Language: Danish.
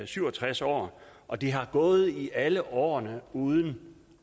syv og tres år og de har gået i alle årene uden